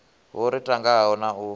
ho ri tangaho na u